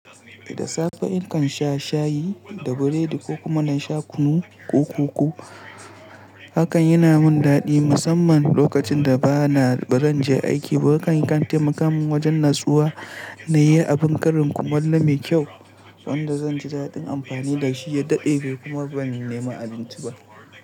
Da safe nakan sha shayi da biredi ko kuma na sha kunu ko koko. Hakan yana min daɗi musamman lokacin da ba na barin je aiki ba. Hakan ya kan taimakamin wajen natsuwa na yi abin ƙarin kumallo mai kyau sanda zan ji daɗin amfani da shi ya dade kuma ban nema abinci ba.